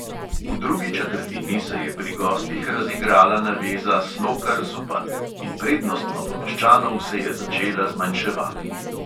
V drugi četrtini se je pri gostih razigrala naveza slokar-zupan in prednost novomeščanov se je začela zmanjševati.